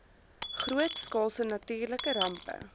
grootskaalse natuurlike rampe